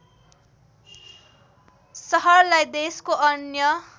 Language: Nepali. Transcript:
सहरलाई देशको अन्य